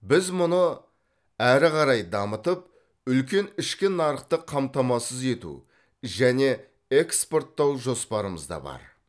біз бұны әрі қарай дамытып үлкен ішкі нарықты қамтамасыз ету және экспорттау жоспарымызда бар